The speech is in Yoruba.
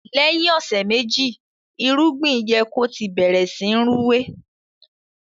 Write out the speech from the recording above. lèyìn ọsẹ meji irúgbìn yẹ kò tí bẹrẹ sìn Rúwé.